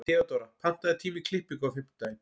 Theodóra, pantaðu tíma í klippingu á fimmtudaginn.